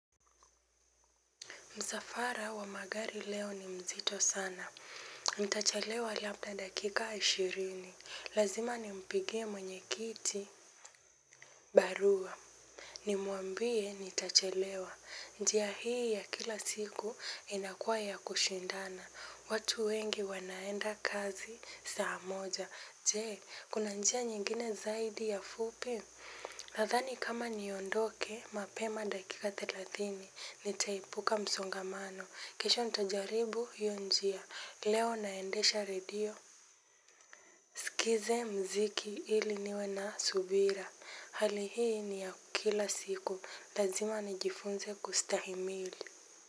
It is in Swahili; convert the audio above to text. Msafara wa magari leo ni mzito sana. Nitachelewa labda dakika ishirini. Lazima nimpigie mwenyekiti barua. Nimwambie nitachalewa. Njia hii ya kila siku inakua ya kushindana. Watu wengi wanaenda kazi saa moja. Je, kuna njia nyingine zaidi ya fupi? Nathani kama niondoke mapema dakika thelathini nitaepuka msongamano kisha nitajaribu hiyo njia leo naendesha radio nisikize mziki ili niwe na subira hali hii ni ya kila siku lazima nijifunze kustahimili.